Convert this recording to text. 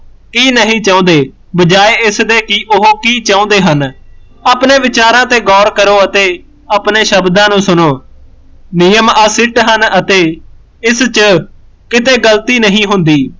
ਹੀ ਨਹੀਂ ਚਾਹੁੰਦੇ ਬਜਾਏ ਇਸਦੇ ਕਿ ਉਹ ਕੀ ਚਾਹੁੰਦੇ ਹਨ ਆਪਣੇ ਵਿਚਾਰਾਂ ਤੇ ਗੋਰ ਕਰੋ ਅਤੇ ਆਪਣੇ ਸ਼ਬਦਾਂ ਨੂੰ ਸੁਣੋ ਨਿਯਮ ਅਸਿਰਤ ਹਨ ਅਤੇ ਇਸ ਚ ਕਿਤੇ ਗਲਤੀ ਨਹੀਂ ਹੁੰਦੀ